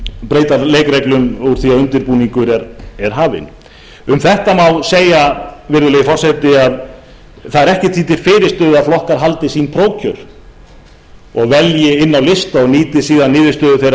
breyta leikreglum um þetta má segja virðulegi forseti að ekkert er því til fyrirstöðu að flokkar haldi prófkjör velji inn á lista og nýti niðurstöðu þeirra prófkjöra